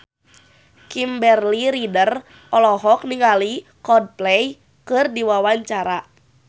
Kimberly Ryder olohok ningali Coldplay keur diwawancara